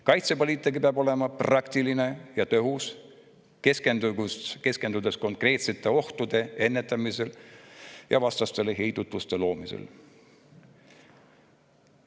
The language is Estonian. Kaitsepoliitika peab olema praktiline ja tõhus, keskendudes konkreetsete ohtude ennetamisele ja vastastele heidutuse loomisele.